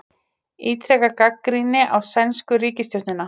Ítreka gagnrýni á sænsku ríkisstjórnina